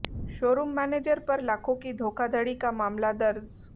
showroom manager पर लाखों की धोखाधड़ी का मामला दर्ज